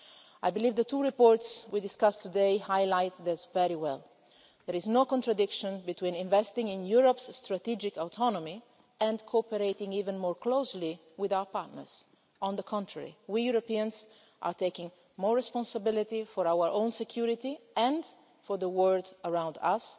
I believe the two reports we are discussing today highlight this very well. There is no contradiction between investing in Europe's strategic autonomy and cooperating even more closely with our partners. On the contrary, we Europeans are taking more responsibility for our own security and for the world around